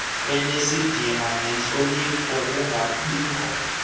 enesidima nentlonipho kungabikho